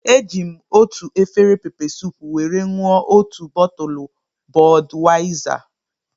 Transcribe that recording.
Eji m otu efere peppersoup were ṅụọ otu bọtụlu Bọdwaizar